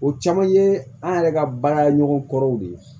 O caman ye an yɛrɛ ka baaraɲɔgɔn kɔrɔw de ye